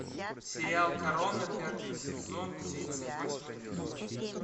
сериал корона пятый сезон тридцать восьмой эпизод